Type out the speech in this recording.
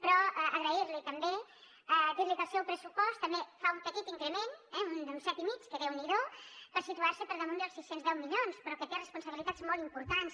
però agrair li també dir li que el seu pressupost també fa un petit increment d’un set i mig que déu n’hi do per situar se per damunt dels sis cents i deu milions però que té responsabilitats molt importants